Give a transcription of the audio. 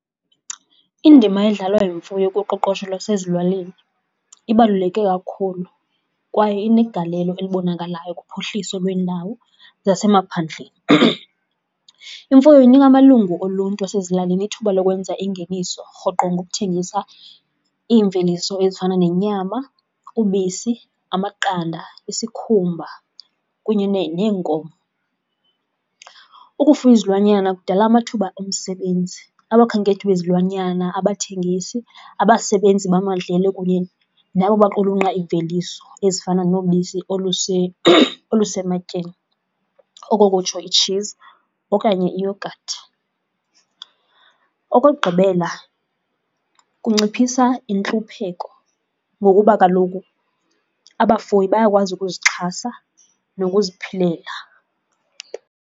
Indima edlalwa yimfuyo kuqoqosho lwasezilalini ibaluleke kakhulu kwaye inegalelo elibonakalayo kuphuhliso lweendawo zasemaphandleni. Imfuyo inika amalungu oluntu asezilalini ithuba lokwenza ingeniso rhoqo ngokuthengisa iimveliso ezifana nenyama, ubisi amaqanda, isikhumba kunye neenkomo. Ukufuya izilwanyana kudala amathuba omsebenzi, abakhenkethi bezilwanyana, abathengisi, abasebenzi bamadlelo kunye nabo baqulunqa iimveliso ezifana nobisi olusematyeni, oko kutsho i-cheese okanye iiyogathi. Okokugqibela, kunciphisa intlupheko ngokuba kaloku abafuyi bayakwazi ukuzixhasa nokuziphilela.